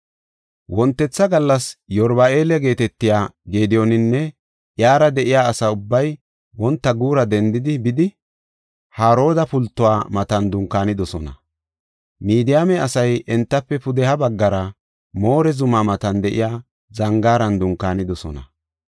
Wontetha gallas Yeruba7aala geetetiya Gediyooninne iyara de7iya asa ubbay wonta guura dendidi bidi, Harooda pultuwa matan dunkaanidosona. Midiyaame asay entafe pudeha baggara More zumaa matan de7iya zangaaran dunkaanidosona.